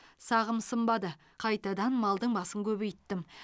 сағым сынбады қайтадан малдың басын көбейттім